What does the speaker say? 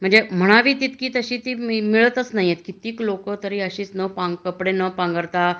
म्हणजे म्हणावा तशी ती मिळतंय कितेक लोक अस में कपडे न पांघरता